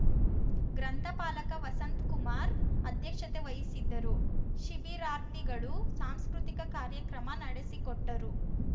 ಗ್ರಂಥಪಾಲಕ ವಸಂತಕುಮಾರ್ ಅಧ್ಯಕ್ಷತೆ ವಹಿಸಿದ್ದರು ಶಿಬಿರಾರ್ಥಿಗಳು ಸಾಂಸ್ಕೃತಿಕ ಕಾರ್ಯಕ್ರಮ ನಡೆಸಿಕೊಟ್ಟರು